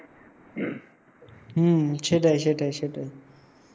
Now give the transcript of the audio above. হম সেটাই সেটাই সেটাই